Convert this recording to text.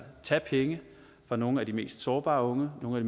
tage penge fra nogle af de mest sårbare unge nogle af